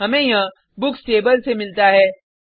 हमें यह books table से मिलता है